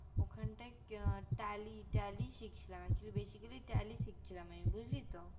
ওখানটায় tally tally শিখছিলাম বেশি করে tally tally শিখছিলাম অরে আমি বুজলিতো